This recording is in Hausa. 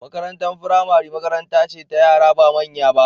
Makarantar firamare makaranta ce ta yara ba manya ba.